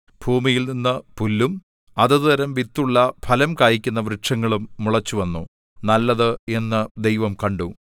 ഭൂമിയിൽനിന്നു പുല്ലും അതത് തരം വിത്തുള്ള ഫലം കായിക്കുന്ന വൃക്ഷങ്ങളും മുളച്ചുവന്നു നല്ലത് എന്നു ദൈവം കണ്ടു